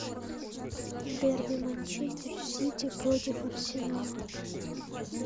дерби манчестер сити против арсенала